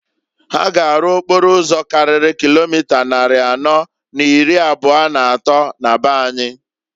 Ha ga arụ okporo ụzọ karịrị kilomita nnarị anọọ na n'ịrị abụa n'atọọ na be anyị.